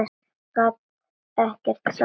Gat ekkert sagt.